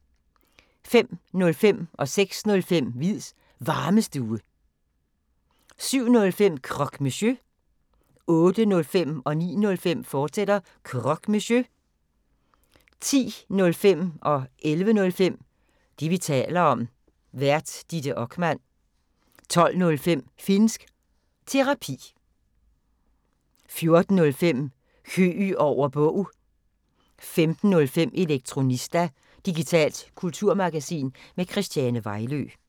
05:05: Hviids Varmestue 06:05: Hviids Varmestue 07:05: Croque Monsieur 08:05: Croque Monsieur, fortsat 09:05: Croque Monsieur, fortsat 10:05: Det, vi taler om. Vært: Ditte Okman 11:05: Det, vi taler om. Vært: Ditte Okman 12:05: Finnsk Terapi 14:05: Høeg over Bog 15:05: Elektronista – digitalt kulturmagasin med Christiane Vejlø